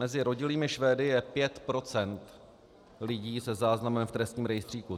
Mezi rodilými Švédy je 5 % lidí se záznamem v trestním rejstříku.